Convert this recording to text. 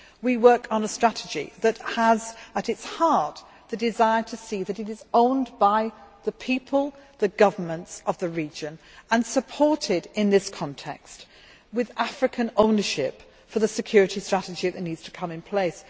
We work on a strategy that has at its heart the desire to see that it is owned by the people and the governments of the region and is supported in this context, with African ownership for the security strategy that needs to be set in place.